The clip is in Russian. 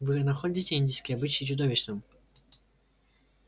вы находите индийский обычай чудовищным